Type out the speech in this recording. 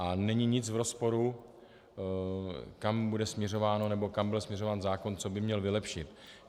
A není nic v rozporu, kam bude směřováno, nebo kam bude směřován zákon, co by měl vylepšit.